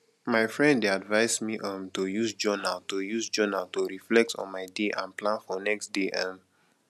my friend dey advise me um to use journal to use journal to reflect on my day and plan for next day um